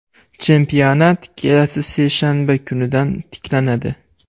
Chempionat kelasi seshanba kunidan tiklanadi.